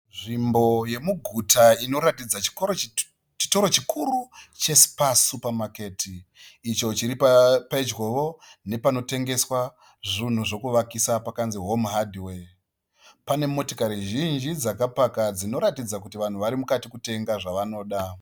Nzvimbo yemuguta inoratidza chitoro chikuru che Spar Supermarket, icho chiri pedyo ne panotengeswa zvinhu zvekuvakisa pakanzi, Home Hardware. Pane motikari zhinji dzaka paka dzinoratidza kuti vanhu varimukati kutenga zvavanoda.